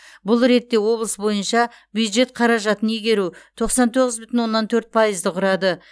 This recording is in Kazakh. бұл ретте облыс бойынша бюджет қаражатын игеру тоқсан тоғыз бүтін оннан төрт пайызды құрады